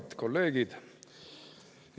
Head kolleegid!